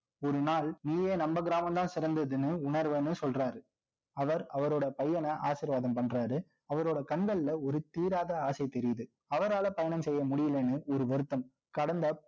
ஒரு நாள் நீயே நம்ம கிராமம்தான் சிறந்ததுன்னு, உணர்வேன்னு சொல்றாரு. அவர், அவரோட பையன ஆசீர்வாதம் பண்றாரு. அவரோட கண்கள்ல, ஒரு தீராத ஆசை தெரியுது. அவரால பயணம் செய்ய முடியலைன்னு, ஒரு வருத்தம் கடந்த